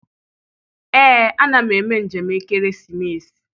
Ee, a na m eme njem ekeresimesi.